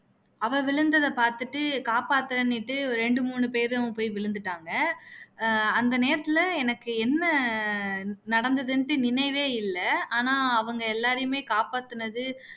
அவ விழுந்ததை பாத்துட்டு காப்பத்தன்னுட்டு ரெண்டு மூணு பேரும் போயி விழுந்துட்டாங்க ஆஹ் அந்த நெரத்துல எனக்கு என்ன நடந்துதுன்னுட்டு எனக்கு நினைவே இல்ல ஆனா அவங்க எல்லாரையும் காப்பாத்துனது